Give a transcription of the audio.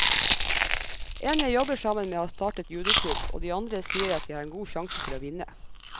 En jeg jobber sammen med har startet judoklubb, og de andre sier at jeg har en god sjanse til å vinne.